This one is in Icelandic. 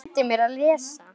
Hann kenndi mér að lesa.